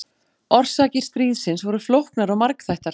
Orsakir stríðsins voru flóknar og margþættar.